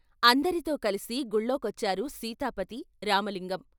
అందరితో కలిసి గుళ్ళోకొచ్చారు సీతాపతి, రామలింగం.